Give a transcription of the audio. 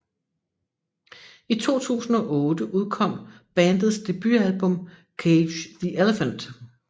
I 2008 udkom bandets debutalbum Cage The Elephant